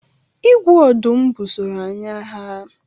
Igwe ọdụm busoro anyị agha.